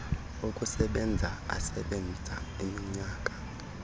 okusebenza asebenza iminyaka